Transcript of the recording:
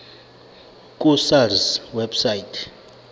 ku sars website